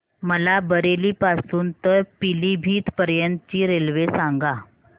मला बरेली पासून तर पीलीभीत पर्यंत ची रेल्वे सांगा